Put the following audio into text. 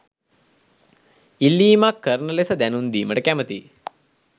ඉල්ලීමක් කරන ලෙස දැනුම් දීමට කැමැතියි.